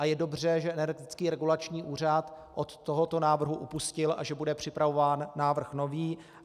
A je dobře, že Energetický regulační úřad od tohoto návrhu upustil a že bude připravovat návrh nový.